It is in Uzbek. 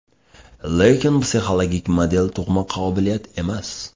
Lekin psixologik model tug‘ma qobiliyat emas.